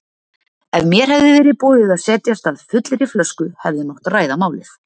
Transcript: Ef mér hefði verið boðið að setjast að fullri flösku hefði mátt ræða málið.